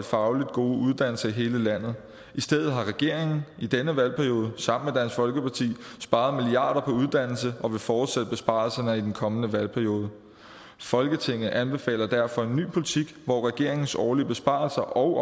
fagligt gode uddannelser i hele landet i stedet har regeringen i denne valgperiode sparet milliarder på uddannelse og vil fortsætte besparelserne i den kommende valgperiode folketinget anbefaler derfor en ny politik hvor regeringens årlige besparelser og